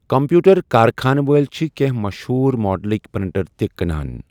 Computer کارخانہٕ وٲلۍ چھِ کینٛہہ مشہوٗر ماڈلٕک پرنٹر تہِ کٕنان۔